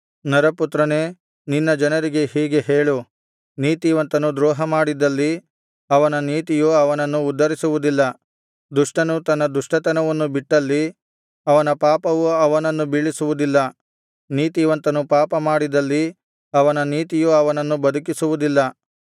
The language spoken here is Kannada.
ನರಪುತ್ರನೇ ನಿನ್ನ ಜನರಿಗೆ ಹೀಗೆ ಹೇಳು ನೀತಿವಂತನು ದ್ರೋಹಮಾಡಿದ್ದಲ್ಲಿ ಅವನ ನೀತಿಯು ಅವನನ್ನು ಉದ್ಧರಿಸುವುದಿಲ್ಲ ದುಷ್ಟನು ತನ್ನ ದುಷ್ಟತನವನ್ನು ಬಿಟ್ಟಲ್ಲಿ ಅವನ ಪಾಪವು ಅವನನ್ನು ಬೀಳಿಸುವುದಿಲ್ಲ ನೀತಿವಂತನು ಪಾಪಮಾಡಿದಲ್ಲಿ ಅವನ ನೀತಿಯು ಅವನನ್ನು ಬದುಕಿಸುವುದಿಲ್ಲ